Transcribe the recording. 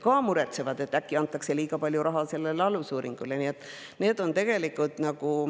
Nad muretsevad, et äkki antakse liiga palju raha alusuuringutele.